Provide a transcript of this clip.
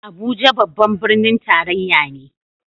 Abuja babban birnin tarayya ne